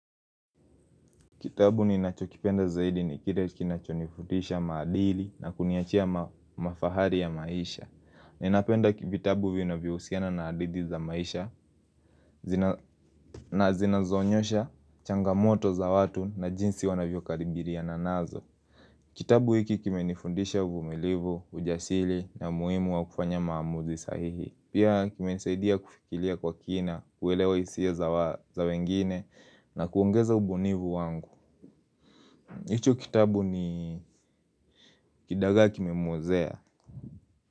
Kitabu ninacho kipenda zaidi ni kile kinachonifutisha maadili na kuniachia mafahari ya maisha Ninapenda vitabu vinavyohusiana na hadithi za maisha na zinazoonyesha changamoto za watu na jinsi wanavyokaribiliana nazo Kitabu hiki kimenifundisha uvumilivu, ujasiri na umuhimu wa kufanya maamuzi sahihi Pia kimenisaidia kufikiria kwa kina, kuelewa hisia za wengine na kuongeza ubunifu wangu hicho kitabu ni kidaga kimemwozea.